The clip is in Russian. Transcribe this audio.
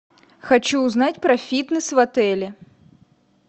хочу узнать про фитнес в отеле